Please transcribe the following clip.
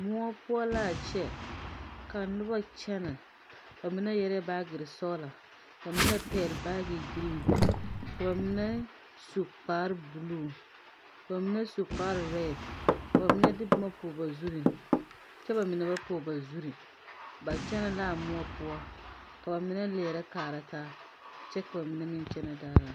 Moɔ poɔ laa kyɛ ka nobo kyɛnɛ ba mine yɛrɛɛ baagyirre sɔglɔ ka mine pɛgle baagibilli ka ba mine su kparebluu ba mine su kpare rɛd ka ba mine de bomma pɔge ba zurre kyɛ ba mine ba pɔg ba zurre ba kyɛnɛ laa moɔ poɔ ka ba mine leɛrɛ kaara taa kyɛ ka ba mine meŋ kyɛnɛ daadaa.